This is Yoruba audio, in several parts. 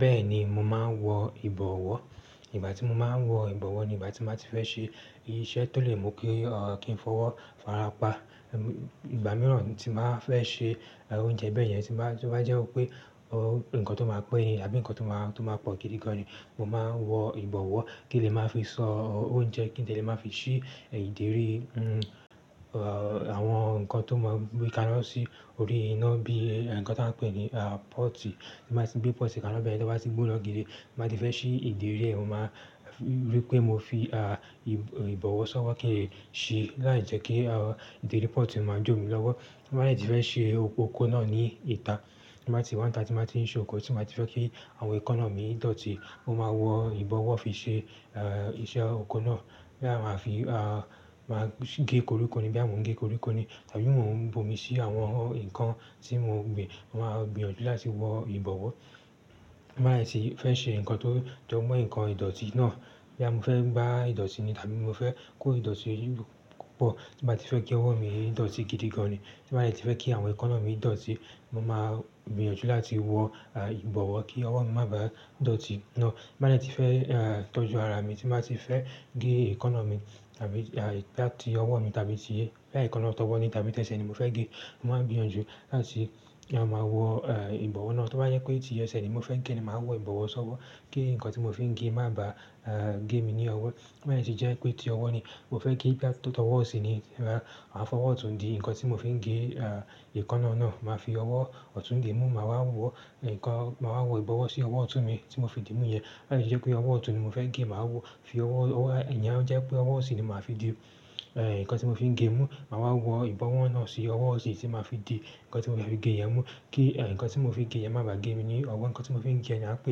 Bẹ́ẹ̀ni, mo máa ń wọ ìbọ̀wọ́. Ìgbà tí mo máa ń wọ ìbọ̀wọ́ ni ìgbà tí n bá ti fẹ́ ṣe iṣẹ́ tó lè mú kí a, kí n fọwọ́ farapa. Ìgbà mìíràn tí n màá fẹ́ ṣe oúnjẹ bẹ́yẹn, tí n bá, tó bá jẹ́ wipé ohun nǹkan tó máa pẹ́ ni àbí nǹkan tó máa, tó máa pọ̀ gidi gan ni, mo máa n wọ ìbọ̀wọ́ kí n lè máa fi sọ oúnjẹ, kí n dẹ̀ lè máa fi ṣí e ìdérí i, a àwọn nǹkan tó máa n gbeka na sí orí iná bí e nǹkan ta ń pè ní à pọ́tì. Gbé pọ́tì kaná bẹ́yen tọ bá ti gbóná gidi, ti n bá ti fẹ́ ṣí ìdérí ẹ̀, mo máa r-- rí pé mo fi à ib--ìbọ̀wọ́ ṣọ́wọ́ kí n é ṣí láì jẹ́ kí a ìdérí pọ́tì máa dùn mí lọ́wọ́. Ti n bá dè ti fẹ́ ṣe okoko náà ní ìta. Ti ń bá ti wá n ìta tí n bá ti ń ṣan oko, tí n bá ti fẹ́ kí àwọn ẹkọ́na mi dọ̀tí, mo máa wọ ìbọ̀wọ́ fi ṣe a iṣẹ́ oko náà. Bóyá máa fi a máa--si gi koríko ni, bóyá mo ń gẹ́ koríko ni tàbí mọ́ ń bomi sí àwọn nǹkan tí mo gbin, mo máa gbìyànjú láti wọ ìbọ̀wọ́. Ti n bá dè ti fẹ́ ṣe nǹkan tó jọmọ́ nǹkan ìdọ̀tí náà. Bóyá mo fẹ́ gbá ìdọ̀tí ni tàbí mo fẹ́ kó ìdọ̀tí yìí gb-- pọ̀, tí n bá ti fẹ́ kí ọwọ́ mi dọ̀tí gidi gan ni, tí n bá dè ti fẹ́ kí àwọn ẹkọ́na mi dọ̀tí, mo máa gbìyànjú láti wọ a ìbọ̀wọ́ kí ọwọ́ mi má bàá dọ̀tí náà. Ti n bá dè ti fẹ́ a tọ́jú ara mi, tí n bá ti fẹ́ gẹ́ ẹkọ́na mi tàbí a bóyá tí ọwọ́ mi tàbí tí bóyá ẹkọ́na tó wọ́ ni tàbí tẹsẹ̀ ni mo fẹ́ gẹ́, mo máa n gbìyànjú láti ya máa wọ e ìbọ̀wọ́ náà. Tó bá yẹ pé tí ẹsẹ̀ ni mo fẹ́ gẹ́ ni, màá wọ ìbọ̀wọ́ ṣọ́wọ́ kí nǹkan tí mo fi ń gẹ́ máa bà á gẹ́ mi ní ọwọ́. Tó bá dè ti jẹ́ pé tí ọwọ́ ni mo fẹ́ gẹ́, gba-- tọwọ́ ọ̀sì ni, máa a fọwọ́ ọ̀tún di nǹkan tí mo fi ń gẹ́ à ẹkọ́na náà, màá fi ọwọ́ ọ̀tún di n mú, màá wọ nǹkan, màá wọ ìbọ̀wọ́ sí ọwọ́ ọ̀tún mi tí mo fi dí mú yẹn. Tó bá dè ti jẹ́ pé ọwọ́ ọ̀tún ni mo fẹ́ gẹ́, màá wọ fi ọwọ́, owo, ìyẹn o jẹ́ pé ọwọ́ ọ̀sì ni màá fi di e nǹkan tí mo fi ń gẹ́ mú, màá wa wọ ìbọ̀wọ́ náà sí ọwọ́ ọ̀sì tí n màá fi di nǹkan tí mo fe fi gẹ́ yẹn mú kí e nǹkan tí mo fi ń gẹ́ yẹn máa bà gẹ́ mi ní ọwọ́. Ǹnkan tí mo fi ń gẹ́ yẹn a ń pè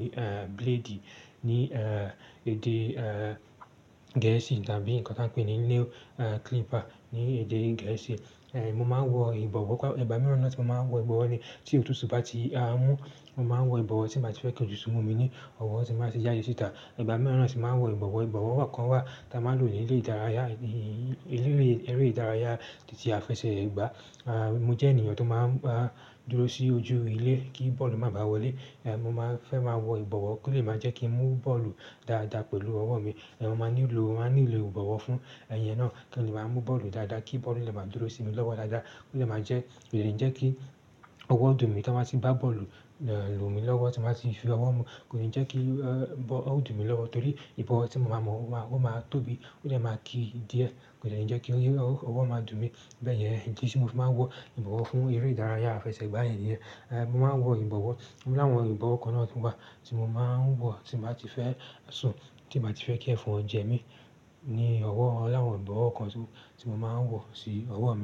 ní e blade ní e èdè e Gẹ̀ẹ́sì tàbí nǹkan ta ń pè ní nail e clipper ní èdè Gẹ̀ẹ́sì. È mo máa ń wọ ìbọ̀wọ́ kwa--, ìgbà mìíràn náà tí mo máa ń wọ ìbọ̀wọ́ ni tí òtútù bá ti á n mú, mo máa ń wọ ìbọ̀wọ́ tí n bá ti fẹ́ kí òtútù mú mi ní ọwọ́ tí n bá ti jáde síta. Ìgbà mìíràn náà tì máa ń wọ ìbọ̀wọ́. Ìbọ̀wọ́ wá kan wá ta máa ń lò ní ilé ìdárayá, i-i-i-i, ililé eré ìdárayá, títí àfẹsẹ̀ gbà. À mo jẹ́ ènìyàn tó máa ń bá dúró sí ojú ilé kí bọ́ọ̀lù má bàá wọlé, è mo máa fẹ́ máa wọ ìbọ̀wọ́ kó lè máa jẹ́ kí n mú bọ́ọ̀lù dáadáa pẹ̀lú ọwọ́ mi. È mo máa nílò, màá nílò ìbọ̀wọ́ fún e ìyẹn náà kí n lè máa mú bọ́ọ̀lù dáadáa, kí bọ́ọ̀lù lè máa dúró sí mi lọ́wọ́ dáadáa, kó lè máa jẹ́ kò dè lè jẹ́ kí ọwọ́ dùn mí to n bá ti gbá bọ́ọ̀lù e lù mí lọ́wọ́, tí n bá ti fi ọwọ́ mú, kò lè jẹ́ kí ee ọ dùn mí lọ́wọ́ torí ìbọ̀wọ́ tí mo máa mọ̀ ó máa, ó máa tóbi, ó dè máa kí díẹ̀, kò dè ni jẹ́ kí o ọwọ́ máa dùn mí bẹ́yẹn. E idí tí mo fi máa ń wọ ìbọ̀wọ́ fún eré ìdárayá àfẹsẹ̀gbá yen niyen. È mo máa ń wọ ìbọ̀wọ́. Mo láwọ̀n ìbọ̀wọ́ kan náà ti n bá ti mo máa ń wọ tí n bá ti fẹ́ sùn, tí n bá ti fẹ́ kí ẹfon jẹ mi ni owo, o láwọn ibowo kan.